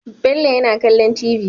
Bello yana kallon tv